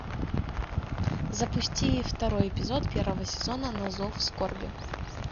запусти второй эпизод первого сезона на зов скорби